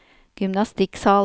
gymnastikksal